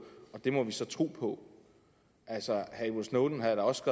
og det må vi så tro på altså edward snowden havde da også